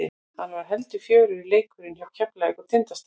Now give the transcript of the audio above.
Hann var heldur fjörugri leikurinn hjá Keflavík og Tindastól.